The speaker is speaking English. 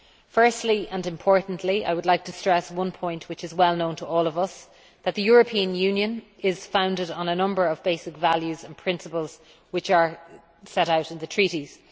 Firstly, and importantly, I would like to stress one point which is well known to all of us that the European Union is founded on a number of basic values and principles which are set out in the Treaties.